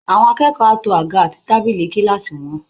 Àwọn akẹ́kọ̀ọ́ á to àga àti tábílì kíláàsì wọn